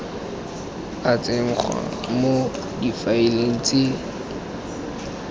a tsenngwa mo difaeleng tse